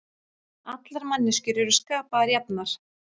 Allar manneskjur eru skapaðar jafnar